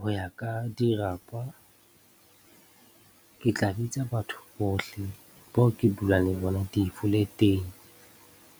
Ho ya ka dirapa, ke tla bitsa batho bohle bao ke dulang le bona di-flat-eng